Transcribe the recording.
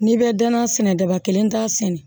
N'i bɛ danaya sɛnɛ daba kelen da sɛnɛ